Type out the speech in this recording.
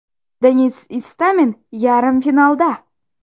Denis Istomin yarim finalda!.